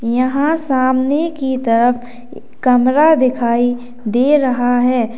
यहां सामने की तरफ कमरा दिखाई दे रहा है।